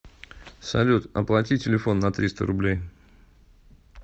салют оплати телефон на триста рублей